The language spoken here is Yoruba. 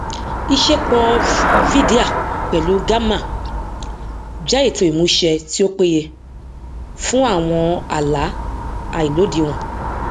ìṣepọ vydia pẹlú gamma jẹ ètò ìmúṣẹ tí ó péye fún àwọn àlá àìlódiwọn